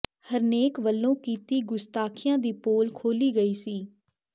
ਹਰਨੇਕ ਵੱਲੋਂ ਕੀਤੀ ਗ਼ੁਸਤਾਖੀਆਂ ਦੀ ਪੋਲ ਖੋਲੀ ਗਈ ਸੀ